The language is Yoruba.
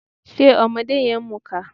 Ṣe ọmọdé yẹn ń mùka?